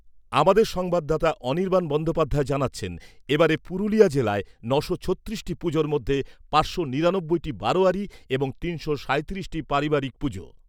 আমাদের সংবাদদাতা অনির্বাণ বন্দোপাধ্যায় জানাচ্ছেন, এবারে পুরুলিয়া জেলায় ন'শো ছত্রিশটি পুজোর মধ্যে পাঁচশো নিরানব্বইটি বারোয়ারি এবং তিনশো সাঁইত্রিশটি পারিবারিক পুজো।